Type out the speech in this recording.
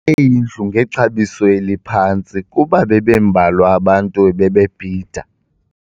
indlu ngexabiso eliphantsi kuba bebembalwa abantu ebebebhida.